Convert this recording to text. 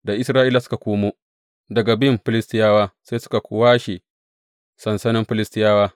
Da Isra’ilawa suka komo daga bin Filistiyawa sai suka washe sansanin Filistiyawa.